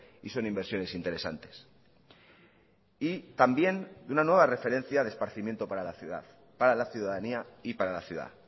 y son inversiones interesantes y también de una nueva referencia de esparcimiento para la ciudad para la ciudadanía y para la ciudad